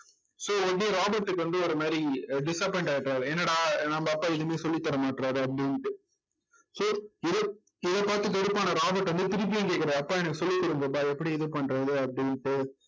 so வந்து ராபர்ட்க்கு வந்து ஒரு மாதிரி அஹ் disappoint ஆயிட்டாரு என்னடா நம்ம அப்பா எதுவுமே சொல்லித் தர மாட்டேங்கிறாரு அப்படின்ட்டு so இத இதை பார்த்து வெறுப்பான ராபர்ட் வந்து திருப்பியும் கேட்கிறாரு அப்பா எனக்கு சொல்லி கொடுங்கப்பா எப்படி இது பண்றது அப்படின்னுட்டு